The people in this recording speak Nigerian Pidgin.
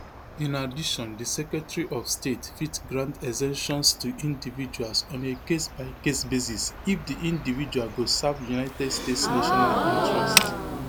in addition di secretary of state fit grant exemptions to individuals on a casebycase basis if di individual go serve united states national interest